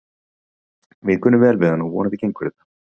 Við kunnum vel við hann og vonandi gengur þetta.